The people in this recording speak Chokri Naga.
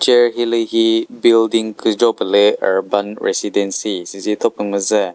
ture hilühi building küzho pülü urban residency süzi thopü müzü.